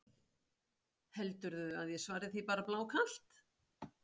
Heldurðu að ég svari því bara blákalt?